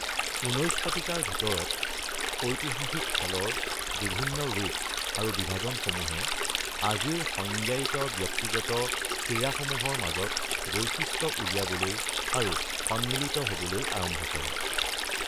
১৯ শতিকাৰ ভিতৰত ঐতিহাসিক খেলৰ বিভিন্ন ৰূপ আৰু বিভাজনসমূহে আজিৰ সংজ্ঞায়িত ব্যক্তিগত ক্ৰীড়াসমূহৰ মাজত বৈশিষ্ট্য উলিয়াবলৈ আৰু সন্মিলিত হ’বলৈ আৰম্ভ কৰে।